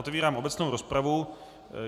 Otevírám obecnou rozpravu.